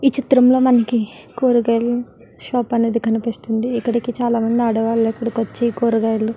ఈ చిత్రం లో మనకి కురగాయలు షాప్ అనేది కనిపిస్తుంది ఇక్కడికి చాలామంది ఆడవాళ్లు ఇక్కడికి వచ్చి కురగాయలు --